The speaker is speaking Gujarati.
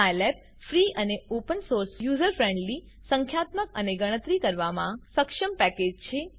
સાયલેબ ફ્રી અને ઓપન સોર્સ યુઝર ફ્રેન્ડલી સંખ્યાત્મક અને ગણતરી કરવામાં સક્ષમ પેકેજ છે